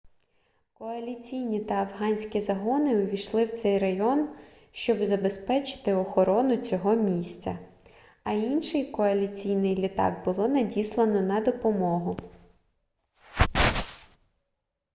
коаліційні та афганські загони увійшли в цей район щоб забезпечити охорону цього місця а інший коаліційний літак було надіслано на допомогу